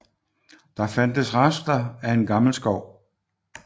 Der fandtes rester af en gammel skov